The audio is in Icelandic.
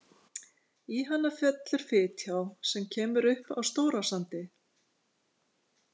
Í hana fellur Fitjá, sem kemur upp á Stórasandi.